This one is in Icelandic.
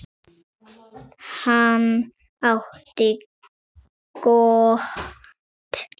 Hann átti gott líf.